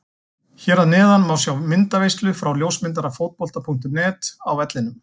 Hér að neðan má sjá myndaveislu frá ljósmyndara Fótbolta.net á vellinum.